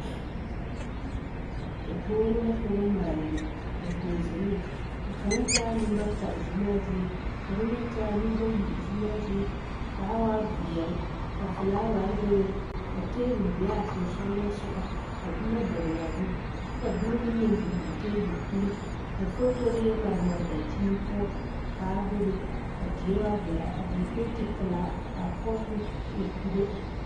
Dakogro la ka ba maale biŋ dakɔge ziŋne a kang taa nenbata ziŋmaa zie ka kang meŋ taa nenbayi zuŋmaa zie kaa waa vielɛ ka folaaware bebe ka tabol be a soŋsɔŋle sɔŋɔ ka boma doŋle a zu kyɛ ka boma be a tabol puleŋ ka fotore yɛ mare mare a daŋkyine poɔ kaa bebe a die waa velaa a die penti pilaa kaa poɔ meŋ e poŋo.